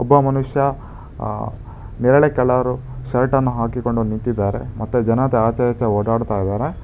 ಒಬ್ಬ ಮನುಷ್ಯ ನೆರಳೆ ಕಲರ್ ಶರ್ಟ್ ಅನ್ನು ಹಾಕಿಕೊಂಡು ನಿಂತಿದ್ದಾರೆ ಮತ್ತೆ ಜನದ ಆಚೆ ಈಚೆ ಓಡಾಡ್ತಾ ಇದ್ದಾರೆ.